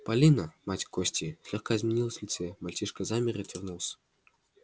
полина мать кости слегка изменилась в лице мальчишка замер и отвернулся